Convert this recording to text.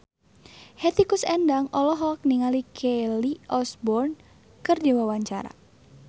Hetty Koes Endang olohok ningali Kelly Osbourne keur diwawancara